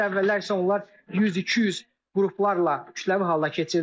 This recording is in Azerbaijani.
Əvvəllər isə onlar 100-200 qruplarla kütləvi halda keçirdilər.